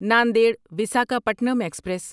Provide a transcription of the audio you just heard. Nanded Visakhapatnam express